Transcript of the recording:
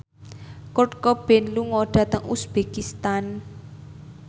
Kurt Cobain lunga dhateng uzbekistan